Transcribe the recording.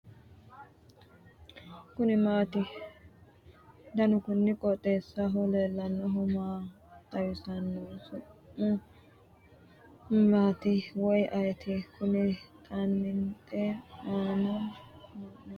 kuni maati ? danu kuni qooxeessaho leellannohu maa xawisanno su'mu maati woy ayeti ? kuni xaanixe ana hunnoonniri maati ? gobba hiikkoti